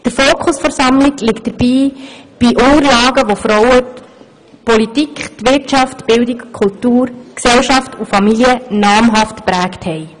Der Fokus der Sammlung liegt dabei auf Unterlagen über Frauen, welche Politik, Wirtschaft, Kultur, Gesellschaft und Familie nachhaltig geprägt haben.